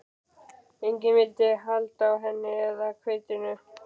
Enginn vildi halda á henni eða hveitinu.